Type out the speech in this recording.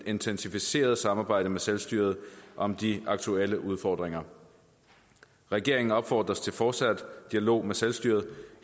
intensiveret samarbejde med selvstyret om de aktuelle udfordringer regeringen opfordres til fortsat dialog med selvstyret